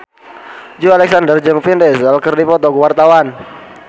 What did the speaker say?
Joey Alexander jeung Vin Diesel keur dipoto ku wartawan